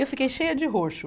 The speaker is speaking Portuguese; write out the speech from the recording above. Eu fiquei cheia de roxo.